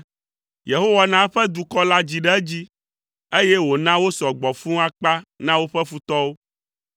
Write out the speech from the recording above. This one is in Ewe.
Yehowa na eƒe dukɔ la dzi ɖe edzi, eye wòna wosɔ gbɔ fũu akpa na woƒe futɔwo,